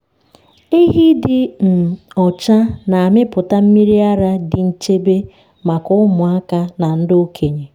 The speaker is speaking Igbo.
ehi dị um ọcha na-amịpụta mmiri ara dị nchebe maka ụmụaka na ndị okenye.